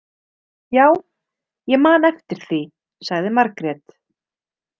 Já, ég man eftir því, sagði Margrét.